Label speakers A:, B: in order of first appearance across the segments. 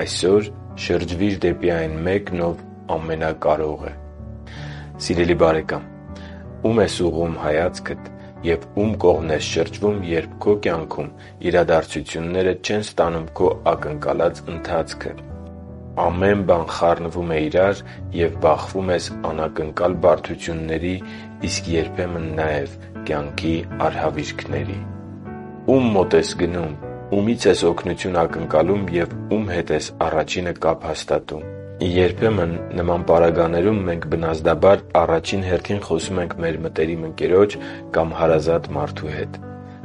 A: Այսօր շրջվի՛ր դեպի այն Մեկն, Ով ամենակարող է Սիրելի՛ բարեկամ, ո՞ւմ ես ուղղում հայացքդ և ու՞մ կողմն ես դու շրջվում, երբ քո կյանքում իրադարձությունները չեն ստանում քո ակնկալած ընթացքը, ամեն բան խառնվում է իրար և բախվում ես անակնկալ բարդությունների, իսկ երբեմն նաև արհավիրքների։ Ո՞ւմ մոտ ես գնում, ումի՞ց ես օգնություն ակնկալում և ո՞ւմ հետ ես առաջինը կապ հաստատում։ Երբեմն նման պարագաներում մենք բնազդաբար առաջին հերթին խոսում ենք մեր մտերիմ ընկերոջ կամ հարազատ մարդու հետ։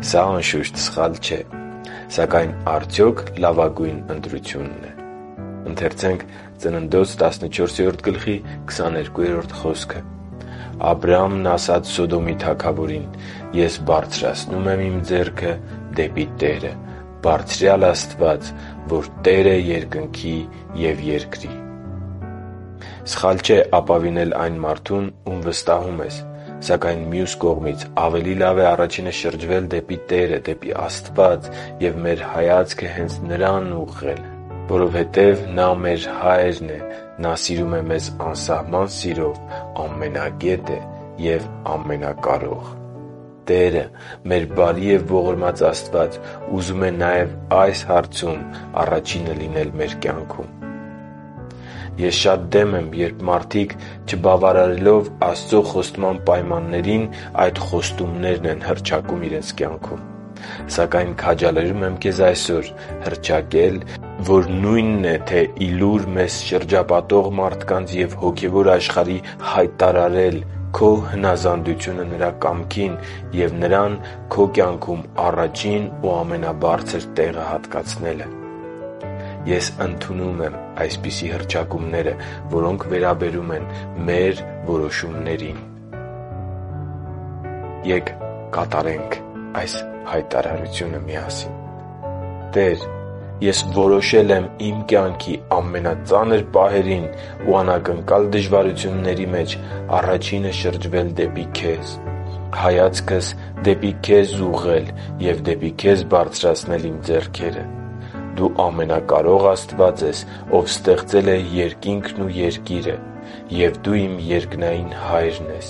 A: Սա, անշուշտ, սխալ չէ։ Սակայն արդյո՞ք լավագույն ընտրությունն է․․․ «Աբրամն ասաց Սոդոմի թագավորին. «Ես բարձրացնում եմ իմ ձեռքը դեպի Տերը՝ Բարձրյալ Աստված, որ Տեր է երկնքի և երկրի» (Ծննդոց 14․22): Սխալ չէ ապավինել այն մարդուն, ում վստահում ես։ Սակայն մյուս կողմից, ավելի լավ է առաջինը շրջվել դեպի Աստված և մեր հայացքը հե՛նց Նրան ուղղել, որովհետև Նա մեր Հայրն է, սիրում է մեզ անսահման սիրով, ամենագետ է և ամենակարող։ Տերը՝ մեր բարի և ողորմած Աստված, ուզում է նաև այս հարցում առաջինը լինել մեր կյանքում։ Ես շատ դեմ եմ, երբ մարդիկ, չբավարարելով Աստծո խոստման պայմաններին, այդ խոստումներն են հռչակում իրենց կյանքում։ Սակայն քաջալերում եմ այսօր հռչակել․․․, որ նույն է թե՝ ի լուր մեզ շրջապատող մարդկանց և հոգևոր աշխարհի հայտարարել քո հնազանդությունը Նրա կամքին և Նրան քո կյանքում առաջին ու ամենաբարձր տեղը հատկացնելը․ «Տե՛ր, ես որոշել եմ իմ կյանքի ամենածանր պահերին ու անակնկալ դժվարությունների մեջ առաջինը շրջվել դեպի Քեզ, հայացքս դեպի Քեզ ուղղել և դեպի Քեզ բարձրացնել իմ ձեռքերը։ Դու Ամենակարող Աստված ես, Ով ստեղծել է երկինքն ու երկիրը, և Դու իմ երկնային Հայրն ես։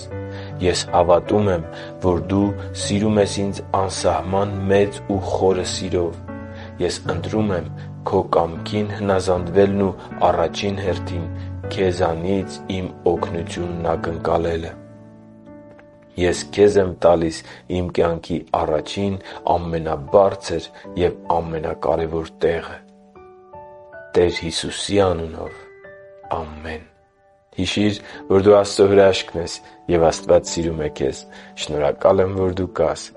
A: Ես հավատում եմ, որ Դու սիրում ես ինձ անսահման մեծ ու խորը սիրով։ Ես ընտրում եմ Քո կամքին հնազանդվելն ու առաջին հերթին Քեզնից իմ օգնությունն ակնկալելը։ Ես Քեզ եմ տալիս իմ կյանքի առաջին, ամենաբարձր և ամենակարևոր տեղը։ Տեր Հիսուսի անունով։ Ամե՛ն»։ Հիշի՛ր, որ դու Աստծո հրաշքն ես, և Աստված սիրում է քեզ։ Շնորհակալ եմ, որ դու կա՛ս